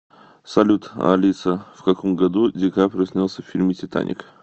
салют алиса в каком году ди каприо снялся в фильме титаник